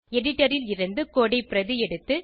editor ல் இருந்து code ஐ பிரதி எடுத்து